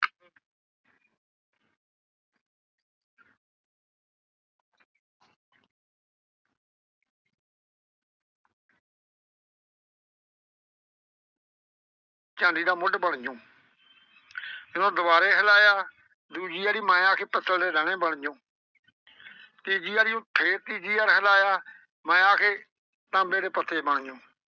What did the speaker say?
ਚਾਂਦੀ ਦਾ ਮੁੱਢ ਬਣ ਜਾਊਂ ਜਦੋਂ ਦੁਬਾਰੇ ਹਿਲਾਇਆ ਦੂਜੀ ਆਰੀ ਮੈਂ ਆਖੇ ਪੱਤਲ ਦੇ ਟਾਹਣੇ ਬਣ ਜਾਊਂ ਤੀਜੀ ਆਰੀ ਅਹ ਫੇਰ ਤੀਜੀ ਆਰੀ ਹਿਲਾਇਆ ਮੈਂ ਆਖੇ ਤਾਂਬੇ ਦੇ ਪੱਤੇ ਬਣ ਜਾਊਂ।